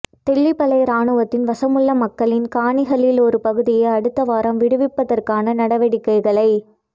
தெல்லிப்பளை இராணுவத்தின் வசமுள்ள மக்களின் காணிகளில் ஒரு பகுதியை அடுத்தவாரம் விடுவிப்பதற்கான நடவடிக்கைகளை